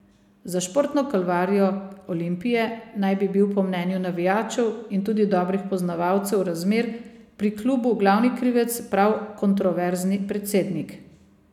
Za športno kalvarijo Olimpije naj bi bil po mnenju navijačev in tudi dobrih poznavalcev razmer pri klubu glavni krivec prav kontroverzni predsednik.